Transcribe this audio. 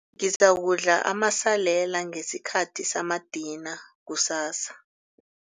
Ngizakudla amasalela ngesikhathi samadina kusasa.